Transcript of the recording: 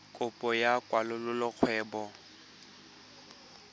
kopo ya go kwalolola kgwebo